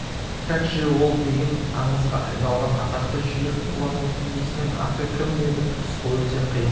как же ол деген аңызға айналған атақты жүйрік болатын иесінің аты кім еді рысқұл өте қиын